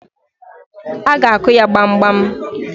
A ga-akụ ya gbamgbam.